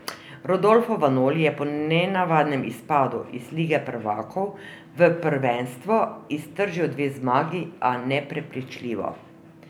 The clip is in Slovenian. Rodolfo Vanoli je po nenavadnem izpadu iz Lige prvakov v prvenstvu iztržil dve zmagi, a neprepričljivo.